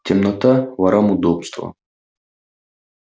темнота ворам удобство